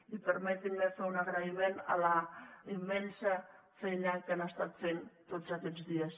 i permetin me fer un agraïment a la immensa feina que han estat fent tots aquests dies